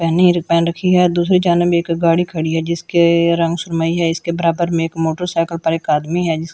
पहनी है जो पहन रखी है दूसरी जानब एक गाड़ी खड़ी है जिसके रंग सुनरमई है इसके बराबर में एक मोटरसाइकिल पर एक आदमी है जिस --